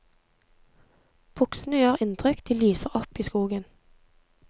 Buksene gjør inntrykk, de lyser opp i skogen.